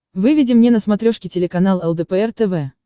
выведи мне на смотрешке телеканал лдпр тв